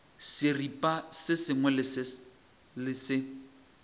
seripa se sengwe le se